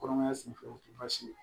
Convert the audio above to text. Kɔnɔmaya senfɛ o tɛ baasi ye